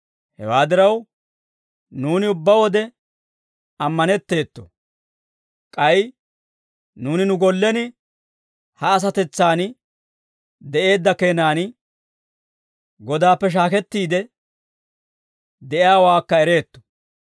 Hewaa diraw, nuuni ubbaa wode ammanetteeto; k'ay nuuni nu gollen ha asatetsan de'eedda keenan, Godaappe shaakettiide de'iyaawaakka ereetto.